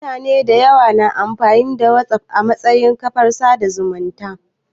Mutane dayawa na amfani da Whatsapp a matsayin kafar sada zumunci